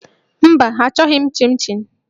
Mba, achọghị m chịn chịn